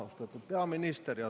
Austatud peaminister!